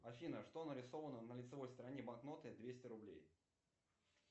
афина что нарисовано на лицевой стороне банкноты двести рублей